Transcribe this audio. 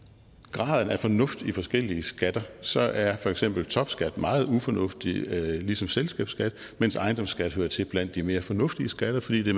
graden af fornuft i forskellige skatter så er for eksempel topskat meget ufornuftigt ligesom selskabsskat mens ejendomsskat hører til blandt de mere fornuftige skatter fordi det